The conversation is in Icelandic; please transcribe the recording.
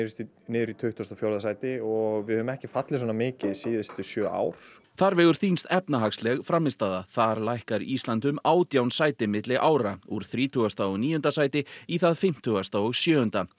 niður í tuttugasta og fjórða sæti og við höfum ekki fallið svona mikið síðustu sjö ár þar vegur þyngst efnahagsleg frammistaða þar lækkar Ísland um átján sæti milli ára úr þrítugasta og níunda sæti í það fimmtíu og sjö